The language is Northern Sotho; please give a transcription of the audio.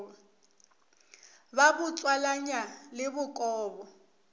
ba bo tswalanya le bokobo